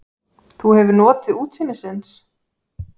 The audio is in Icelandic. Þú hefur notið útsýnisins?